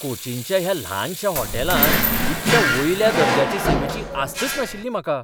कोचीनच्या ह्या ल्हानशा होटॅलांत इतल्या वयल्या दर्ज्याचे सेवेची आस्तच नाशिल्ली म्हाका.